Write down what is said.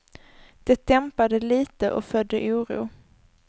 Det dämpade litet och födde oro.